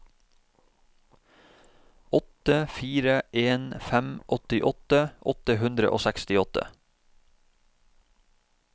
åtte fire en fem åttiåtte åtte hundre og sekstiåtte